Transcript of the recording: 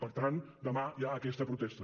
per tant demà hi ha aquesta protesta